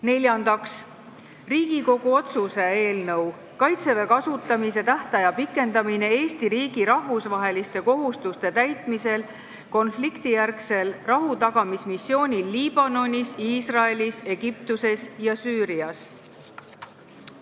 Neljandaks, Riigikogu otsuse "Kaitseväe kasutamise tähtaja pikendamine Eesti riigi rahvusvaheliste kohustuste täitmisel konfliktijärgsel rahutagamismissioonil Liibanonis, Iisraelis, Egiptuses ja Süürias" eelnõu.